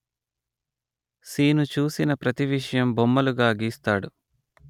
శీను చూసిన ప్రతీవిషయం బొమ్మలుగా గీస్తాడు